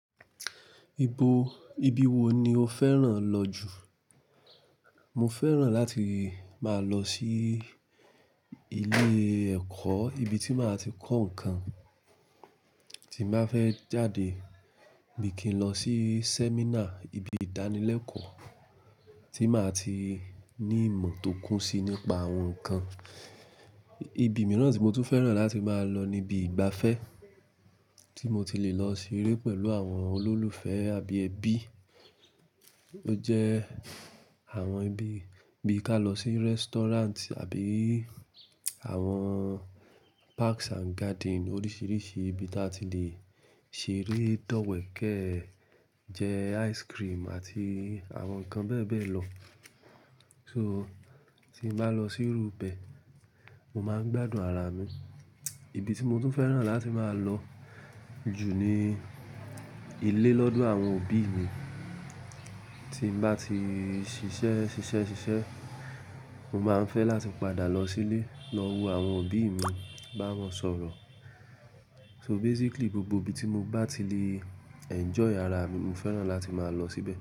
Ibo, ibi wo ni o fẹ́ràn lọ jù? Mo fẹ́ràn láti máa lọ sí ilé ẹ̀kọ́, ibi tí màá ti kọ́ ǹkan, tí màá fẹ́ jáde bí i kí n lọ sí sẹ́mínà, ibi ìdánilẹ́kọ̀ọ́ tí màá ti ní ìmọ̀ tó kún si nípa àwọn ǹkan. Ibi mìíràn tí mo tún fẹ́ràn láti máa lọ ni ibi ìgbafẹ́ tí mo ti le lọ ṣeré pẹ̀lú àwọn olólùfẹ́ àbí ẹbí. Ó jẹ́ àwọn ibi bí i ká lọ sí restaurant àbí àwọn parks and garden oríṣiríṣi ibi tí a ti le ṣeré, dọ́wẹ̀ẹ́kẹ́, jẹ ice cream àti àwọn nǹkan bẹ́ẹ̀ bẹ́ẹ̀ lọ. So tí n ba lọ síru bẹ, mo máa ń gbádùn ara mi. Ibi tí mo tún fẹ́ràn láti máa lọ jù ni ilé lọ́dọ̀ àwọn òbí mi. Tí mo bá ti ṣiṣẹ́, ṣiṣẹ́, ṣiṣẹ́, mo máa ń fẹ́ láti padà lọ sílé, lọ wo àwọn òbí mi, bá wọn sọ̀rọ̀. So basically gbogbo ibi tí mo bá ti le enjoy ara mi, mo fẹ́ràn láti máa lọ síbẹ̀